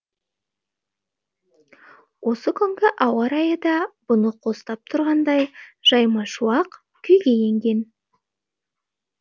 осы күнгі ауа райы да бұны қостап тұрғандай жайма шуақ күйге енген